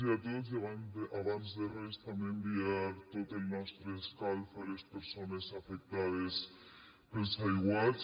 i abans de res també enviar tot el nostre escalf a les persones afectades pels aiguats